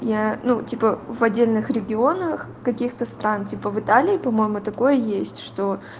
я ну типа в отдельных регионах каких-то стран типа в италии по-моему такое есть что